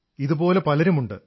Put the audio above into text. ഇതുപോലെ പലരുമുണ്ട്